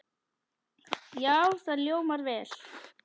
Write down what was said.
Já, það hljómar vel.